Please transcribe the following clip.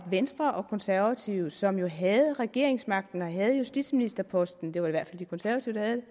venstre og konservative som jo havde regeringsmagten og havde justitsministerposten det var i hvert fald de konservative